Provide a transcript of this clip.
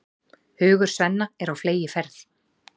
Hugur Svenna er á fleygiferð.